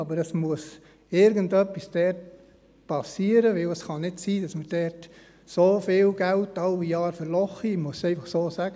Aber dort muss irgendetwas geschehen, denn es kann nicht sein, dass wir dort einfach jedes Jahr so viel Geld verlochen – ich muss es einfach so sagen.